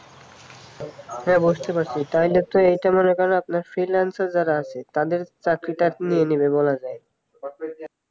হ্যাঁ বুঝতে পারছি তাহলে তো এটা মনে করেন আপনার freelancer যারা আছে তাদের চাকরি টাকরি নিয়ে নেবে বলা যায়